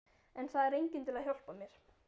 En það er enginn til að hjálpa mér.